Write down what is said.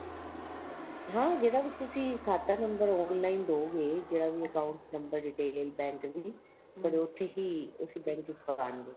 ਹਾਂ ਜਿਹੜਾ ਵੀ ਤੁਸੀਂ ਖਾਤਾਂ number online ਦਹੋਗੇ ਜਿਹੜਾ ਵੀ account number detail bank ਦੀ ਉਥੇ ਹੀ ਉਸ bank ਵਿੱਚ ਪਵਾਉਣਗੇ